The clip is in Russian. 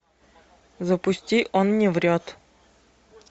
запусти он не врет